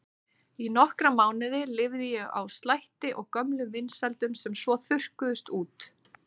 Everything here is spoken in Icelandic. Í nokkra mánuði lifði ég á slætti og gömlum vinsældum sem svo þurrkuðust út.